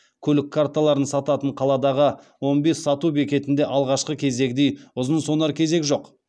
көлік карталарын сататын қаладағы он бес сату бекетінде алғашқы кездегідей ұзын сонар кезек жоқ